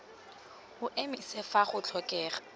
o emise fa go tlhokega